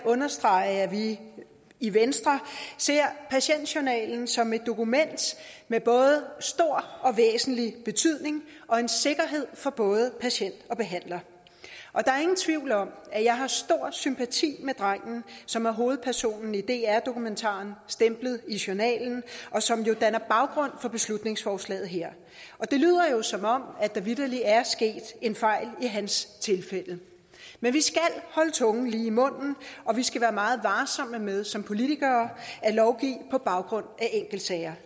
understrege at vi i venstre ser patientjournalen som et dokument med både stor og væsentlig betydning og en sikkerhed for både patient og behandler der er ingen tvivl om at jeg har stor sympati med drengen som er hovedpersonen i dr dokumentaren stemplet i journalen og som jo danner baggrund for beslutningsforslaget her det lyder jo som om der vitterlig er sket en fejl i hans tilfælde men vi skal holde tungen lige i munden og vi skal være meget varsomme med som politikere at lovgive på baggrund af enkeltsager